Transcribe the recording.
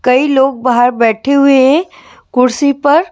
कई लोग बाहर बैठे हुए हैं कुर्सी पर--